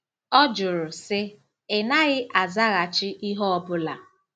Ọ jụrụ, sị, “Ị̀ naghị azaghachi ihe ọ bụla.